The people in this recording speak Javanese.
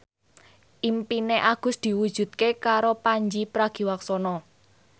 impine Agus diwujudke karo Pandji Pragiwaksono